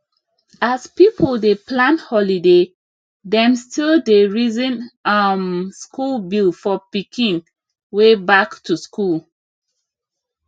as people dey plan holiday dem still dey reason um school bill for pikin way back to school